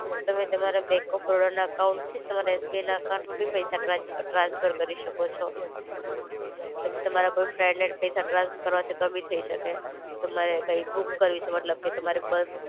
તમે તમારા bank of બરોડાના એકાઉન્ટથી તમારા એસબીઆઈ ના એકાઉન્ટમાં બી પૈસા ટ્રાન્સ ટ્રાન્સફર કરી શકો છો. પછી તમારા કોઈ ફ્રેન્ડને પૈસા ટ્રાન્સફર કરવા છે તો બી થઇ શકે. તમારે કઈ બુક કરવી છે મતલબ કે તમારે બસ